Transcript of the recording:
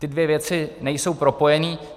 Ty dvě věci nejsou propojené.